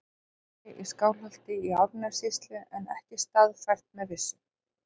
Örnefni í Skálholti í Árnessýslu en ekki staðfært með vissu.